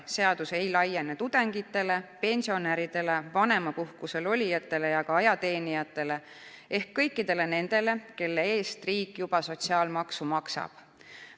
Seadus ei laiene tudengitele, pensionäridele, vanemapuhkusel olijatele ja ka ajateenijatele ehk kõikidele nendele, kelle eest riik juba sotsiaalmaksu maksab.